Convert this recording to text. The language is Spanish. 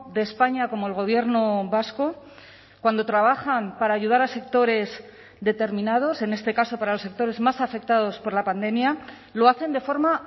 de españa como el gobierno vasco cuando trabajan para ayudar a sectores determinados en este caso para los sectores más afectados por la pandemia lo hacen de forma